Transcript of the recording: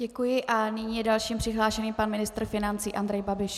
Děkuji a nyní je dalším přihlášeným pan ministr financí Andrej Babiš.